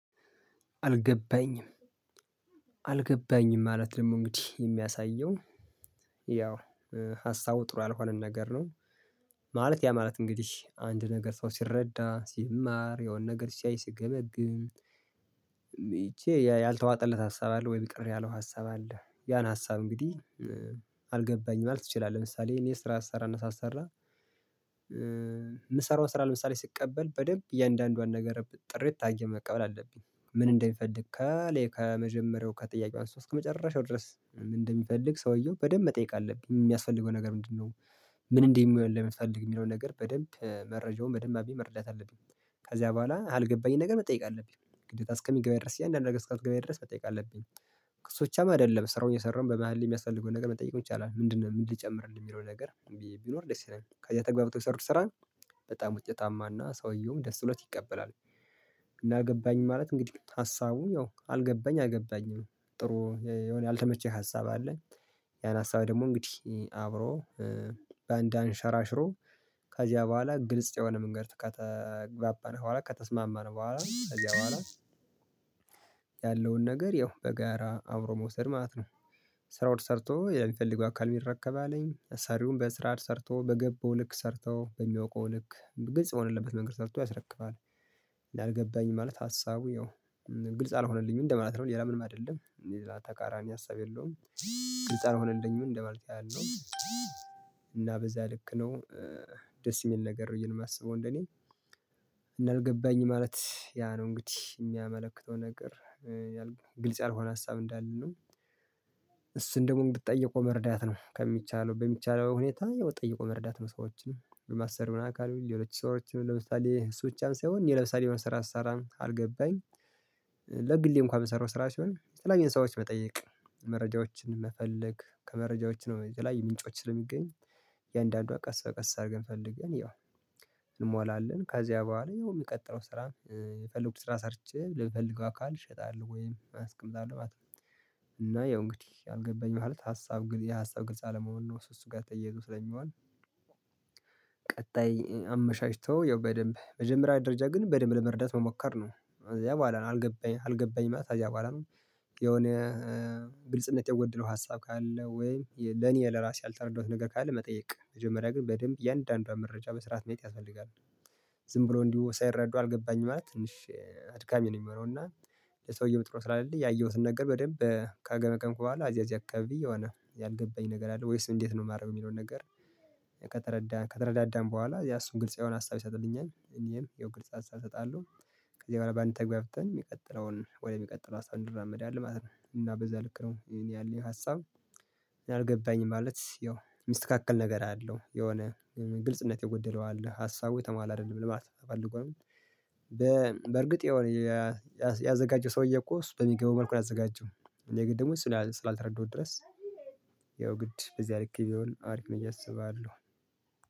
አልገባኝም። አልገባኝም ማለት ደግሞ እንግዲህ የሚያሳየው ያው ሀሳቡ ጥሩ ያልሆነን ነገር ነው። ማለት ያ ማለት እንግዲህ አንድ ነገር ሰው ሲረዳ ሲማር የሆነ ነገር ሲያይ ሲገመግም መቼ ያልተዋጠለት ሀሳብ አለ ወይ ቅር ያለው ሀሳብ አለ ያን ሀሳብ እንግዲህ አልገባኝም ማለት ትችላለህ። ለምሳሌ እኔ ስራ አሰራና ሳሰራ የምሰራው ስራ ለምሳሌ ስቀበል በደንብ እያንዳንዷን ነገር ጥርት ታየኝ መቀበል አለብኝ ምን እንደሚፈልግ ከመጀመሪያው ከጥያቄው አንስቶ እስከመጨረሻው ድረስ ምን እንደሚፈልግ ሰውየው በደንብ መጠየቅ አለብኝ የሚያስፈልገው ነገር ምንድነው? ምን እንደሚሆን ለመፍታት የሚለውን ነገር በደንብ መረጃውን መደማቢ መርዳት አለብኝ። ከዚያ በኋላ አልገባኝ ነገር መጠየቅ አለብኝ ግዴታ እስከሚገባ ድረስ ያንዳንድ ነገር ስቃይ እስከሚገባ ድረስ መጠየቅ አለብኝ። እሱ ብቻ አይደለም ስራውን የሰራውን በመሃል የሚያስፈልገውን ነገር መጠየቅ ይቻላል ምንድነው ምን ልጨምርልህ የሚለው ነገር ቢኖር ደስ ይለኛል። ከዛ ተግባብቶ ሰርቶ ስራ በጣም ውጤታማና ሰውየውም ደስ ብሎት ይቀበላል። እና ገባኝ ማለት እንግዲህ ሀሳቡ ያው አልገባኝ አልገባኝም ጥሩ የሆነ ያልተመቸኝ ሀሳብ አለኝ። ያን ሀሳብ ደግሞ እንግዲህ አብሮ በአንድ አንሸራሽሮ ከዚያ በኋላ ግልጽ የሆነ መንገድ ከተግባባን በኋላ ከተስማማን በኋላ ከዚያ በኋላ ያለውን ነገር ያው በጋራ አብሮ መውሰድ ማለት ነው። ስራውን ሰርቶ ሌላ የሚፈልገው አካል ቢረከብ አለኝ ሰሪውን በስራ ሰርቶ በገባው ልክ ሰርተው በሚያውቀው ልክ ግልጽ የሆነለበት መንገድ ሰርቶ ያስረክባል። እንዳልገባኝ ማለት ሀሳቡ ያው ግልጽ አልሆነልኝም እንደማለት ነው ሌላ ምንም አይደለም። ተቃራኒ ሀሳብ የለውም። ግልጽ አልሆነኝም እንደማለት ያህል ነው። በዛ ልክ ነው ደስ የሚል ነገር ብዬ ነው የማስበው እንደኔ። እና አልገባኝ ማለት ያ ነው እንግዲህ የሚያመለክተው ነገር ያልኩት ግልጽ ያልሆነ ሀሳብ እንዳለን ነው። እሱን ደግሞ ብትጠይቀው መርዳት ነው ከሚቻለው በሚቻለው ሁኔታ ያው ጠይቆ መረዳት ነው። ሰዎችን በማሰሪው አካል የሌሎች ሰዎችን ለምሳሌ እሱ ውጪም ሳይሆን እኔ ለምሳሌ ስራ አልሰራም ካልገባኝ ለግሌ እንኳን የምሰራው ስራ ሲሆን የተለያዩን ሰዎች መጠየቅ መረጃዎችን መፈለግ ከመረጃዎች ነው ላይ ምንጮችን ስለሚገኝ። የእያንዳንዷ ቀስ በቀስ አድርገን ፈልገን ያው እንሞላለን ከዚያ በኋላ ያው የሚቀጥለው ስራ የፈለጉት ስራ ሰርቼ ለሚፈልገው አካል እሸጣለሁ ወይም አስቀምጣለሁ ማለት ነው። እና ያው እንግዲህ አልገባኝም ማለት ሀሳብ የሀሳብ ግልጽ አለመሆን ነው እሱ እሱ ጋር ተየይቶ ስለሚሆን። ቀጣይ አመሻሽቶ ያው በደንብ መጀመሪያ ደረጃ ግን በደንብ ለመረዳት መሞከር ነው እዚያ በኋላ ነው አልገባኝም አልገባኝም እዚያ በኋላ ነው። የሆነ ግልጽነት የጎደለው ሀሳብ ካለ ወይ ለኔ ለራሴ ያልተረዳሁት ነገር ካለ መጠየቅ መጀመሪያ ግን በደንብ የአንዳንዷ መረጃ በስርዓት ማየት ያስፈልጋል። ዝም ብሎ እንዲሁ ሳይረዱ አልገባኝም ማለት ትንሽ አድካሚ ነው። የሚሆነውው እና ለሰውየው ጥሩ ስላለ ያየሁትን ነገር በደንብ ከአገመገምኪ በኋላ አዚያ እዚህ አካባቢ የሆነ ያልገባኝ ነገር አለ ወይስ እንዴት ነው የማደርገው የሚለውን ነገር? ከተረዳን ከተረዳን ከተረዳን በኋላ ያ እሱን ግልጽ የሆነ ሀሳብ ይሰጥልኛል እኔንም ግልጽ ሀሳብ እሰጣለሁ። ከዚህ በኋላ በአንድ ተግባብተን የሚቀጥለውን ወደሚቀጥለው ሀሳብ እንድራመዳለን ማለት ነው። እና በዛ ልክ ነው የኔ ያለኝ ሀሳብ። አልገባኝም ማለት ያው ሚስተካከል ነገር አለው የሆነ ግልጽነት የጎደለው አለ ሀሳቡ የተሟላ አይደለም ለማለት ተፈልጎ ነው። በ በእርግጥ ያዘጋጀው ሰውዬ እኮ እሱ በሚገቡ መልኩ ያዘጋጀው እኔ ደግሞ እሱ ስላልተረዱት ድረስ ያው ግድ በዚህ አርክ ቢሆን አሪፍ መቼ አስባለሁ